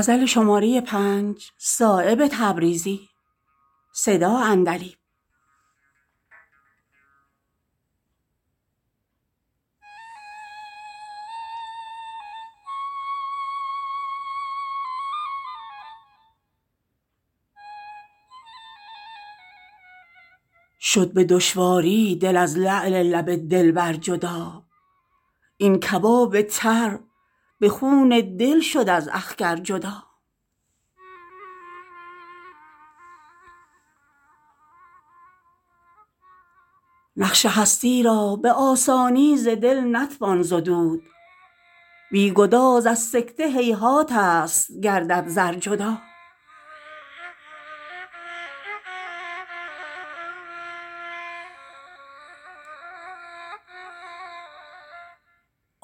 شد به دشواری دل از لعل لب دلبر جدا این کباب تر به خون دل شد از اخگر جدا نقش هستی را به آسانی ز دل نتوان زدود بی گداز از سکه هیهات است گردد زر جدا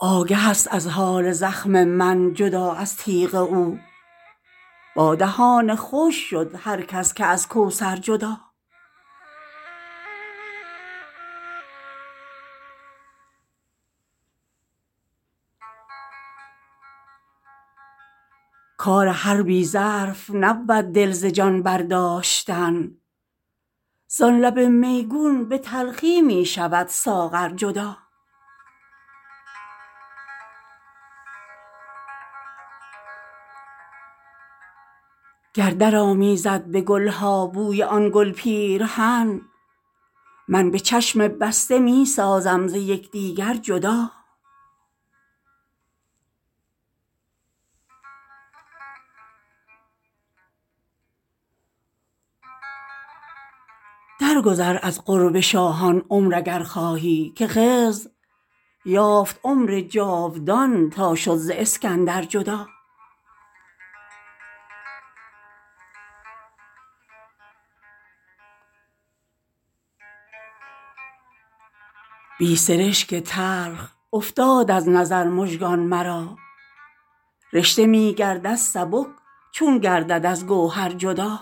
آگه است از حال زخم من جدا از تیغ او با دهان خشک شد هر کس که از کوثر جدا کار هر بی ظرف نبود دل ز جان برداشتن زان لب میگون به تلخی می شود ساغر جدا گر در آمیزد به گل ها بوی آن گل پیرهن من به چشم بسته می سازم ز یکدیگر جدا در گذر از قرب شاهان عمر اگر خواهی که خضر یافت عمر جاودان تا شد ز اسکندر جدا بی سرشک تلخ افتاد از نظر مژگان مرا رشته می گردد سبک چون گردد از گوهر جدا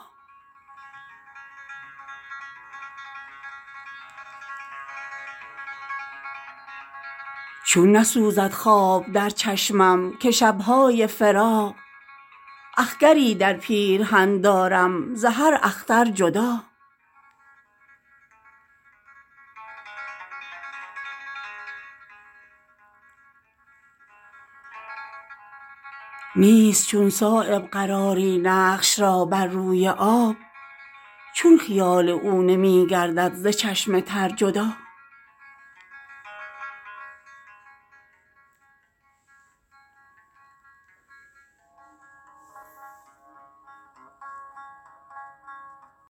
چون نسوزد خواب در چشمم که شب های فراق اخگری در پیرهن دارم ز هر اختر جدا نیست چون صایب قراری نقش را بر روی آب چون خیال او نمی گردد ز چشم تر جدا